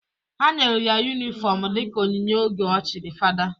Ha nyelu ya yunifọmụ dịka onyinye oge o chiri fada.